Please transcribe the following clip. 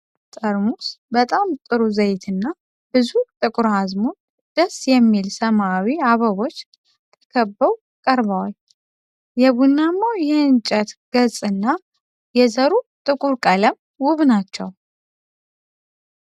ጠርሙስ በጣም ጥሩ ዘይትና ብዙ ጥቁር አዝሙድ ደስ የሚል ሰማያዊ አበቦች ተከበው ቀርበዋል። የቡናማው የእንጨት ገጽና የዘሩ ጥቁር ቀለም ውብ ናቸው።